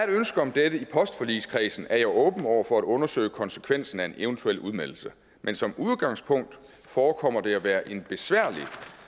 ønske om dette i postforligskredsen er jeg åben over for at undersøge konsekvensen af en eventuel udmeldelse men som udgangspunkt forekommer det at være en besværlig